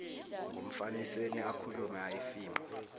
ngumfaniseni akhulume ayifinqe